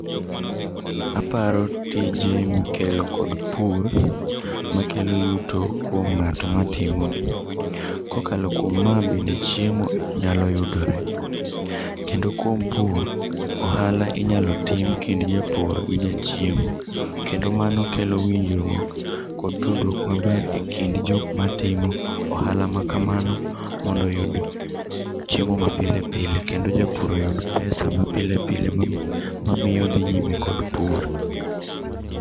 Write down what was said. Aparo tije mikelo kod pur makelo yuto kuom ng'ato matimogi. Kokalo kuom ma bende chiemo nyalo yudore kendo kuom pur ohala inyalo tim kind japur gi ja chiemo kendo mano kelo winjruok kod tudruok maber ekind jok matimo ohala ma kamano mondo oyud chiemo mapile pile kendo japur oyud pesa ma pile pile miyo odhi nyime kod pur.